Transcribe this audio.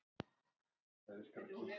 Þannig var Obba.